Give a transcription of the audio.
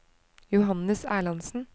Johannes Erlandsen